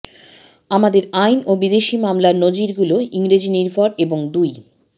আমাদের আইন ও বিদেশি মামলার নজিরগুলো ইংরেজিনির্ভর এবং দুই